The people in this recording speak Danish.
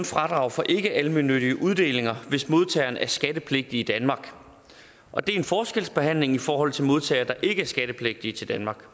fradrag for ikkealmennyttige uddelinger hvis modtageren er skattepligtig i danmark og det er en forskelsbehandling i forhold til modtagere der ikke er skattepligtige til danmark